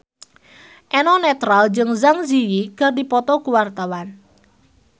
Eno Netral jeung Zang Zi Yi keur dipoto ku wartawan